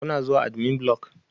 Kuna zuwa admin block?